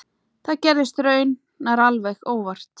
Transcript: Það gerðist raunar alveg óvart.